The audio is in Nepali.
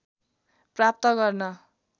प्राप्त गर्न